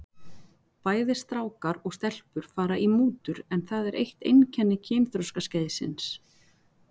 Bæði strákar og stelpur fara í mútur en það er eitt einkenni kynþroskaskeiðsins.